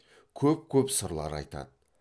көп көп сырлар айтады